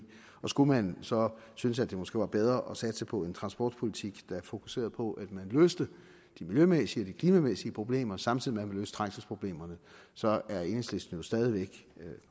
skulle man så synes at det måske var bedre at satse på en transportpolitik der fokuserede på at man løste de miljømæssige og de klimamæssige problemer samtidig med at trængselsproblemer så er enhedslisten jo stadig væk